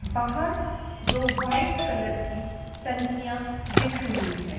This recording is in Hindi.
बाहर दो वाइट कलर की टंकियां दिख रही है।